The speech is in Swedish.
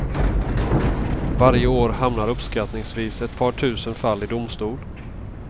Varje år hamnar uppskattningsvis ett par tusen fall i domstol.